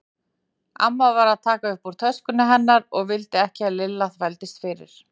Amma var að taka upp úr töskunni hennar og vildi ekki að Lilla þvældist fyrir.